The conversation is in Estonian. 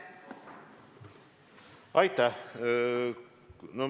Aitäh!